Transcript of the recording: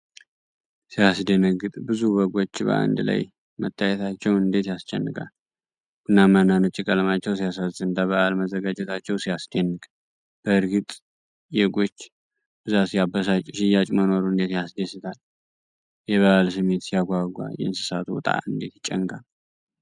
ሲያስደነግጥ! ብዙ በጎች በአንድ ላይ መታየታቸው እንዴት ያስጨንቃል! ቡናማና ነጭ ቀለማቸው ሲያሳዝን! ለበዓል መዘጋጀታቸው ሲያስደንቅ! በእርግጥ የጎች ብዛት ሲያበሳጭ! ሽያጭ መኖሩ እንዴት ያስደስታል! የበዓል ስሜት ሲያጓጓ! የእንስሳቱ ዕጣ እንዴት ይጨንቃል!